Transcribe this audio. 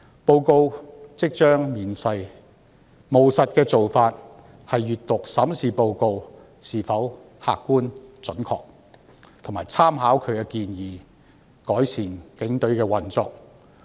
報告即將面世，務實的做法是閱讀及審視報告是否客觀、準確，並參考其建議，改善警隊的運作。